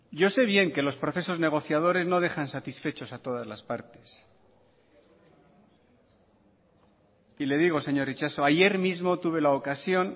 yo sé bien que los procesos negociadores no dejan satisfechos a todas las partes y le digo señor itxaso ayer mismo tuve la ocasión